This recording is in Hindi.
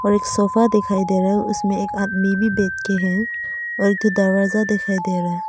एक सोफा दिखाई दे रहा है उसमें एक आदमी भी बैठ के है और एक ठो दरवाजा दिखाई दे रहा है।